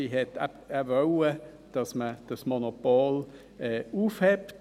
Sie wollte, dass man das Monopol aufhebt.